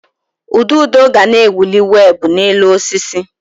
Ududo ga na-ewuli weebụ n'elu osisi.